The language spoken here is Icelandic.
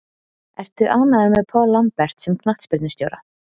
Ertu ánægður með Paul Lambert sem knattspyrnustjóra?